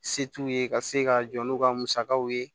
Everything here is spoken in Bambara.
Se t'u ye ka se ka jɔ n'u ka musakaw ye